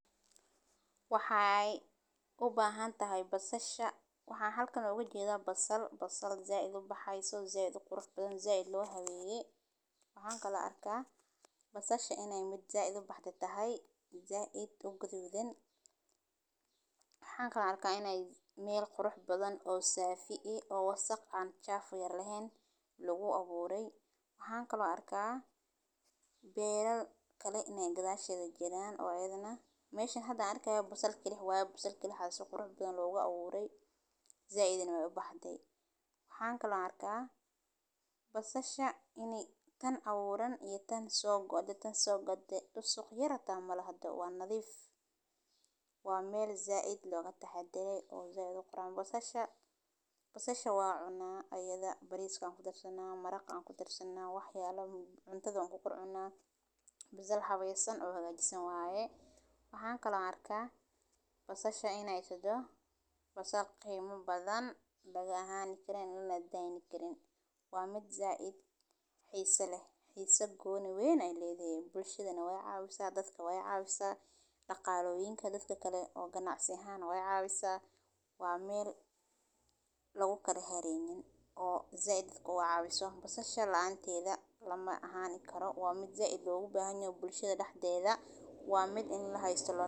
Waxee u bahan tahay basasha waxan halkan oga jedha basal said u baxesa qurux badan said lo haweye waxan kalo arka basasha in ee mid said u baxde ee tahay oo gudhudan, waxan kalo arka meel qurux badan oo said lo abure beeral kale in ee gadhasheeda jiran meshan waxan arkayo waa basal kali ah waxa si qurux badan logu aburey said nah wey u baxde waxan kalo arka basasha in ee tahay tan aburan iyo tan so gode dusuq yar hata malahdo waa nadhiif, waa meel said loga taxadare basasha waa cuna ayadha bariska ayan ku darsana maraqa ayan kudarsana, waxan kalo arka basasha in ee toho mid ladayni karin waa mid said xisa leh xisa goni leh dadka wey cawisa daqtarka daqaloyinka ayey cawisa waa meel lagu kala hareynin said dadka u cawiso basasha waa mid said logu bahan yoho bulshaada daxdedha waa mid in lahasto.